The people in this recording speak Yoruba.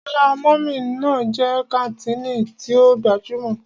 Ọlá mummy ná jẹ́ kàńtìnì tí ó gbajúmọ̀.